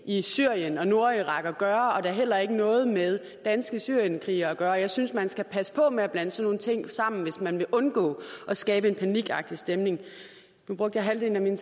i syrien og nordirak at gøre og det har heller ikke noget med danske syrienskrigere at gøre jeg synes man skal passe på med at blande sådan nogle ting sammen hvis man vil undgå at skabe en panikagtig stemning nu brugte jeg halvdelen af min